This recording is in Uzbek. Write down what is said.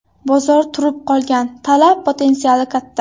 Bozor turib qolgan, talab potensiali katta.